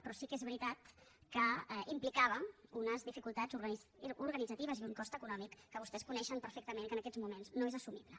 però sí que és veritat que implicava unes dificultats organitzatives i un cost econòmic que vostès coneixen perfectament i que en aquests moments no és assumible